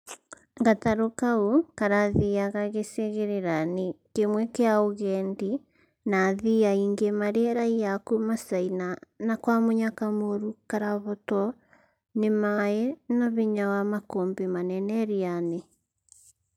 Gataru kau karathiaga gĩcigĩrĩra-inĩ kĩmwe kĩa ũgendi na athii aingĩ marĩ raia a kuma China na kwa mũnyaka mũru karahotwo nĩ maĩ na hinya wa makũmbĩ manene iria-inĩ